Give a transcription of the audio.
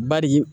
Badi